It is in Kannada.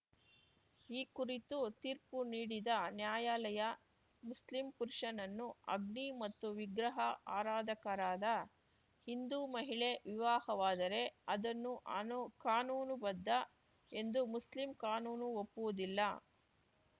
ಈ ಕುರಿತು ತೀರ್ಪು ನೀಡಿದ ನ್ಯಾಯಾಲಯ ಮುಸ್ಲಿಂ ಪುರುಷನನ್ನು ಅಗ್ನಿ ಮತ್ತು ವಿಗ್ರಹ ಆರಾಧಕರಾದ ಹಿಂದೂ ಮಹಿಳೆ ವಿವಾಹವಾದರೆ ಅದನ್ನು ಆನು ಕಾನೂನುಬದ್ಧ ಎಂದು ಮುಸ್ಲಿಂ ಕಾನೂನು ಒಪ್ಪುವುದಿಲ್ಲ